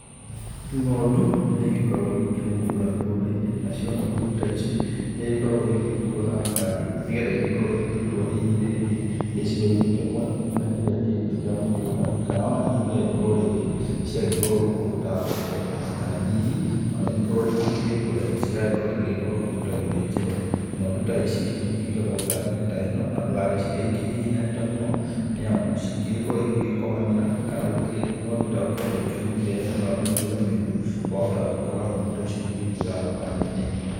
Ng'ondu nĩ igĩkoragwo igĩkĩrĩmwo kũrĩa mĩgũnda-inĩ nacio ng'ondu ta ici nĩ igĩkoragwo igĩgĩkuo na ngari nĩ getha igĩkorwo igĩkĩrutwo hihi rĩngĩ gĩcigo-inĩ kĩmwe ngina kĩrĩa kĩngĩ kĩa mũgũnda. Kana ona hihi gũgagĩkorwo rĩngĩ ciagĩtwarwo kũndũ ta thoko kana hihi ona igĩkorwo rĩngĩ ikĩrĩ ngũre iragĩkorwo igĩgĩtwarwo kũndũ ta gĩthĩnjĩro. Ng'ondu ta ici nĩ ikĩigagwo ngari-inĩ ta ĩno na ndũgagĩcige ikĩhihinyanĩte mũno, nĩ amu cingĩgĩkorwo igĩkomanĩra kana gũkĩrĩ ng'ondu ĩtagũkĩhota gũkĩhuhia nĩ ũndũ wa mĩkuĩre mĩũru. Wahota gwĩkora ng'ondu ta ici ĩgĩgĩkuĩra thabarĩ-inĩ.